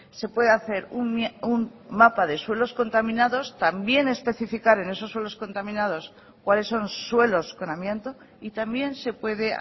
se puede hacer un mapa de suelos contaminados también especificar en esos suelos contaminados cuáles son suelos con amianto y también se puede